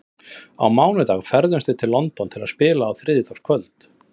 Á mánudag ferðumst við til London til að spila á þriðjudagskvöld.